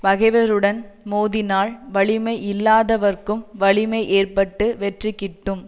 பகைவருடன் மோதினால் வலிமையில்லாதவர்க்கும் வலிமை ஏற்பட்டு வெற்றி கிட்டும்